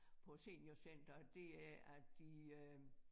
På seniorcenteret det er at de øh